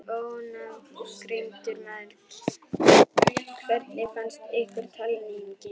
Ónafngreindur maður: Hvernig fannst ykkur talningin?